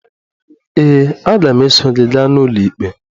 Ee, aga m eso gị gaa n'ụlọikpe.